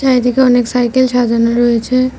এদিকে অনেক সাইকেল সাজানো রয়েছে।